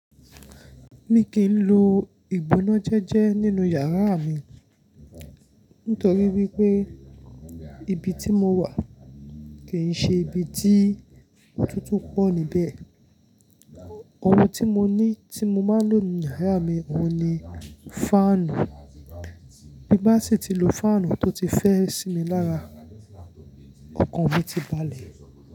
Mi kìí n lo ìgbónájẹ́jẹ́ nínú yàrá mi nítorí wípé ibi tí mo wà kì í ṣe ibi tí otútù pọ̀ níbẹ̀. Ohun tí mo ní tí mo máa ń lò nínú yàrá mi òun ni fáànù. Bí bá sì tí lo fáànù tó ti fẹ́ sí mi lára, ọkàn mi ti balẹ̀